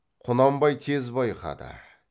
құнанбай тез байқады